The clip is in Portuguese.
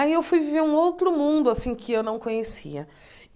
Aí fui ver um outro mundo assim que não conhecia.